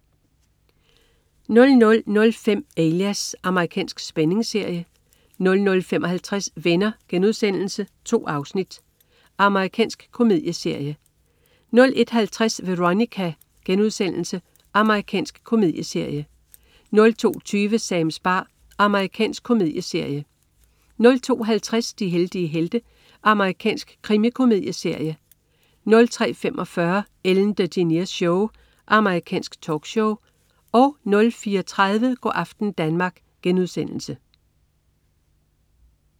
00.05 Alias. Amerikansk spændingsserie 00.55 Venner.* 2 afsnit. Amerikansk komedieserie 01.50 Veronica.* Amerikansk komedieserie 02.20 Sams bar. Amerikansk komedieserie 02.50 De heldige helte. Amerikansk krimikomedieserie 03.45 Ellen DeGeneres Show. Amerikansk talkshow 04.30 Go' aften Danmark*